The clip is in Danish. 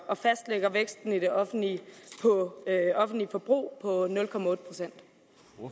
og fastlægger væksten i det offentlige offentlige forbrug